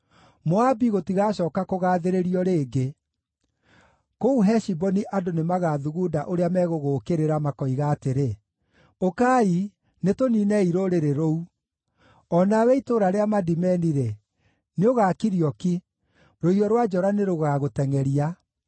Moabi gũtigacooka kũgaathĩrĩrio rĩngĩ; kũu Heshiboni andũ nĩmagathugunda ũrĩa megũgũũkĩrĩra, makoiga atĩrĩ: ‘Ũkai, nĩtũniinei rũrĩrĩ rũu.’ O nawe itũũra rĩa Madimeni-rĩ, nĩũgakirio ki; rũhiũ rwa njora nĩrũgagũtengʼeria.